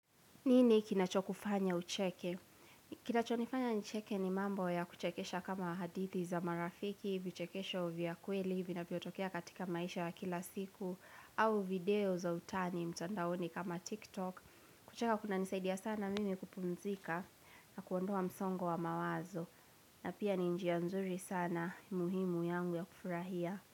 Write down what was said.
Nini kinacho kufanya ucheke? Kinacho nifanya nicheke ni mambo ya kuchekesha kama hadithi za marafiki, vichekesho vya kweli, vinavyotokea katika maisha ya kila siku, au video za utani mtandaoni kama TikTok. Kucheka kuna nisaidia sana mimi kupumzika na kuondoa msongo wa mawazo. Na pia ni njia nzuri sana muhimu yangu ya kufurahia.